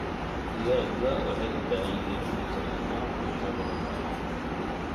Digaagga waxay u baahan yihiin fitamiino cuntadooda.